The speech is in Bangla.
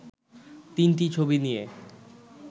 তিনটি ছবি নিয়ে